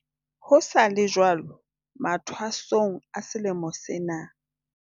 Ho sa le jwalo, mathwasong a selemo sena,